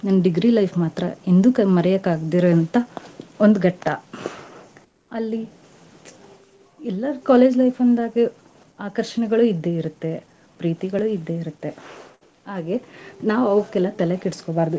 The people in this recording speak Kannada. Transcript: ನನ್ degree life ಮಾತ್ರಾ ಎಂದೂ ಮರೆಯೋಕ್ ಆಗ್ದಿರೋಂಥಾ ಒಂದ್ ಘಟ್ಟಾ. ಅಲ್ಲಿ ಎಲ್ಲಾರ್ college life ಅಂದಾಗೆ ಆಕರ್ಷಣೆಗಳು ಇದ್ದೇ ಇರ್ತ್ತೆ, ಪ್ರೀತಿಗಳು ಇದ್ದೇ ಇರ್ತ್ತೆ. ಹಾಗೆ ನಾವ್ ಅವ್ಕೆಲ್ಲಾ ತಲೆ ಕೆಡಿಸ್ಕೊಬಾರ್ದು.